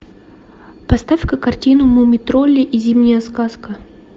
поставь ка картину муми тролли и зимняя сказка